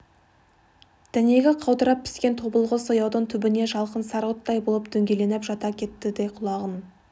дәнегі қаудырап піскен тобылғы сояудың түбіне жалқын сары оттай болып дөңгеленіп жата кетті де құлағын